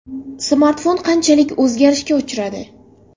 Smartfon qanchalik o‘zgarishga uchradi?